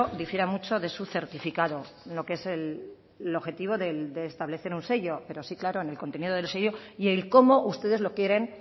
difiera mucho de su certificado lo que es el objetivo de establecer un sello pero sí claro en el contenido del sello y el como ustedes lo quieren